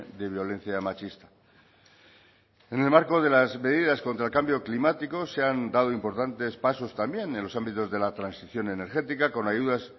de violencia machista en el marco de las medidas contra el cambio climático se han dado importantes pasos también en los ámbitos de la transición energética con ayudas